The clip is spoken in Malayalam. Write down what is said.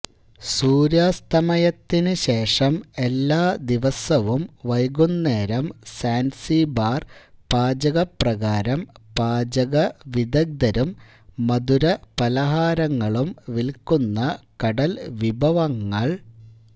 സൂര്യാസ്തമയത്തിന് ശേഷം എല്ലാ ദിവസവും വൈകുന്നേരം സാൻസിബാർ പാചക പ്രകാരം പാചകവിദഗ്ദ്ധരും മധുരപലഹാരങ്ങളും വിൽക്കുന്ന കടൽ വിഭവങ്ങൾ